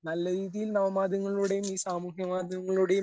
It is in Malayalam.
നല്ല രീതിയിൽ നവമാധ്യമങ്ങളിലൂടെയും ഈ സാമൂഹ്യമാധ്യമങ്ങളിലൂടെയും